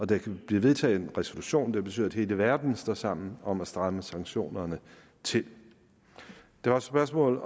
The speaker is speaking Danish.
der kan blive vedtaget en resolution der betyder at hele verden står sammen om at stramme sanktionerne til der var et spørgsmål